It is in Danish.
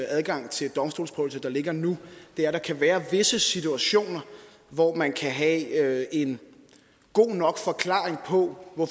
adgang til domstolsprøvelse der ligger nu er at der kan være visse situationer hvor man kan have en god nok forklaring på at